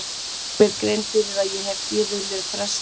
Geri mér grein fyrir að ég hef gefið mér frest allt of lengi.